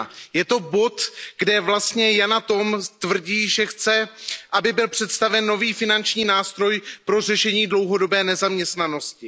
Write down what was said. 1. Je to bod, kde vlastně Yana Toom tvrdí, že chce, aby byl představen nový finanční nástroj pro řešení dlouhodobé nezaměstnanosti.